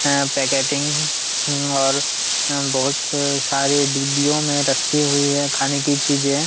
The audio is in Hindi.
ह पैकेटिंग और हुम बहुत सारे डिब्बोयो मे रखी हुए है खाने कि चीज़े!